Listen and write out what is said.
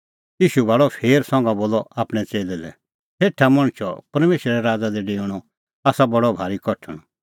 ईशू भाल़अ फेर संघा बोलअ आपणैं च़ेल्लै लै सेठा मणछो परमेशरे राज़ा दी डेऊणअ आसा बडअ भारी कठण